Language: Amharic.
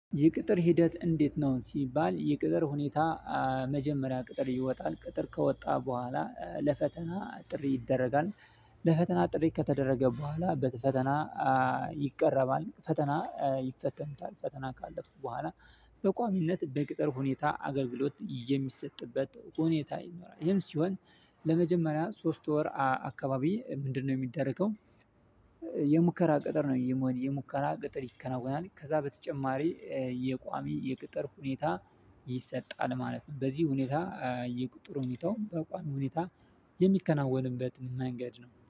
ይቅጥር ሂደት እንዴት ነው ሲባል የቅጥር ሁኔታ መጀመሪያ ቅጥር ይወጣል ቅጥር ከወጣ በኋላ ለፈተና ጥሪ ይደረጋል። ለፈተና ጥሪ ከተደረገ በኋላ በፈተና። ይቀረባል ፈተና ይፈተኑታል ፈተና ካለፉ በኋላ በቋሚነት በቅጥር ሁኔታ አገልግሎት የሚሰጥበት ሁኔታ ይኖራል። ይሄም ሲሆን ለመጀመሪያ ሶስት ወር አካባቢ ምንድነው ሚደረገው? የሙከራ ቅጥር ነው የሙከራ ቅጥር ይከናወናል ከዛ በተጨማሪ የቋሚ የቅጥር ሁኔታ ይሰጣል ማለት ነው። በዚህ ሁኔታ የቅጥር ሁኔታ በቋሚ ሁኔታ የሚከናወንበት መንገድ ነው